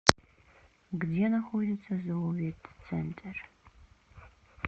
где находится зооветцентр